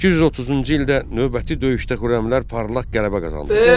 830-cu ildə növbəti döyüşdə Xürrəmlər parlaq qələbə qazandılar.